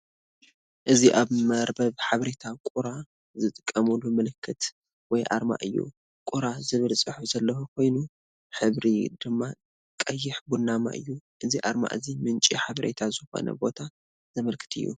እዚ ኣብ መርበብ ሓበሬታ ቁራ ዝጥቀመሉ ምልክት ወይ ኣርማ እዩ። "Quora" ዝብል ጽሑፍ ዘለዎ ኮይኑ፡ ሕብሩ ድማ ቀይሕ ቡናዊ እዩ። እዚ ኣርማ እዚ ምንጪ ሓበሬታ ዝኾነ ቦታ ዘመልክት እዩ።